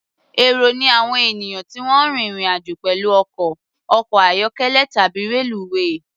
Èrò ni àwọn ènìyàn tí wọ́n ń rín ìrìn-àjò pẹ̀lú ọkọ̀, ọkọ̀-ayọ́kẹ́lẹ̀ tàbí reluwé.